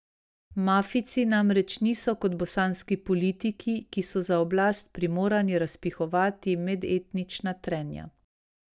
Mafijci namreč niso kot bosanski politiki, ki so za oblast primorani razpihovati medetnična trenja.